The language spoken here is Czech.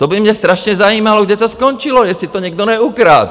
To by mě strašně zajímalo, kde to skončilo, jestli to někdo neukradl.